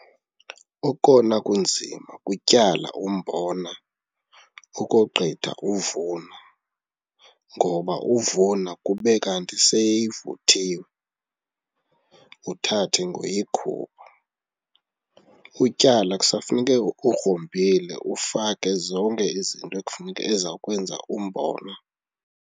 Okona kunzima kutyala umbona ukogqitha uvuna ngoba uvuna kube kanti seyivuthiwe, uthathe ngoyikhupha. Utyala kusafuneke ugrumbile ufake zonke izinto ekufuneka, eza kwenza umbona.